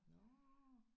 Nåh